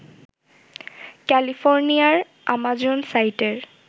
ক্যালিফোর্নিয়ার আমাজন সাইটের